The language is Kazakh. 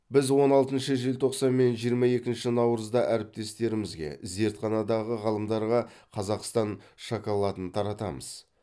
біз он алтыншы желтоқсан мен жиырма екінші наурызда әріптестерімізге зертханадағы ғалымдарға қазақстан шоколадын таратамыз